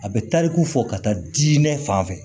A bɛ tariku fɔ ka taa di diinɛ fan fɛ